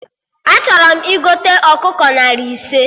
Achọrọ m igote ọkụkọ narị ise